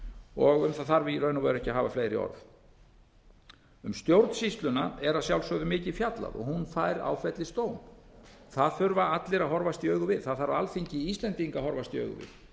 og um það þarf í raun og veru ekki að hafa fleiri orð um stjórnsýsluna er að sjálfsögðu mikið fjallað hún fær áfellisdóm það þurfa allir að horfast í augu við það þarf alþingi íslendinga að horfast í augu við